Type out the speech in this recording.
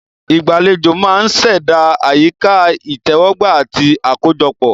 Ìgbàlejò máa ń ṣẹ̀dá àyíká ìtẹ́wọ́gbà àti àkójọpọ̀.